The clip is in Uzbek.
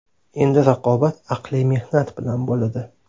Endi raqobat aqliy mehnat bilan bo‘ladi.